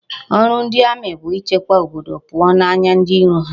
Oru ndi Ami bu ichekwaba obodo puo n'anya ndi iro ha